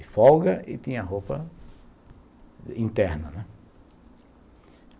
de folga e tinha roupa interna, né.